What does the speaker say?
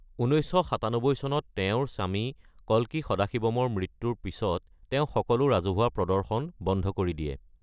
১৯৯৭ চনত তেওঁঁৰ স্বামী কল্কী সদাশিৱমৰ মৃত্যুৰ পিছত তেওঁ সকলো ৰাজহুৱা প্ৰদৰ্শন বন্ধ কৰি দিয়ে।